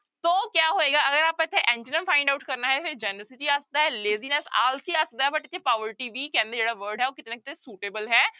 ਸੋ ਕਿਆ ਹੋਏਗਾ ਅਗਰ ਆਪਾਂ ਇੱਥੇ antonym find out ਕਰਨਾ ਹੈ ਫਿਰ generosity ਆ ਸਕਦਾ ਹੈ laziness ਆਲਸੀ ਆ ਸਕਦਾ ਹੈ but ਇੱਥੇ poverty ਵੀ ਕਹਿੰਦੇ ਜਿਹੜਾ word ਹੈ ਉਹ ਕਿਤੇ ਨਾ ਕਿਤੇ suitable ਹੈ,